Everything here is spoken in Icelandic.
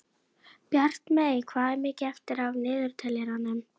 Bjartmey, hvað er mikið eftir af niðurteljaranum?